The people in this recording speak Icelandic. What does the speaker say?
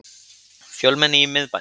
Fjölmenni í miðbænum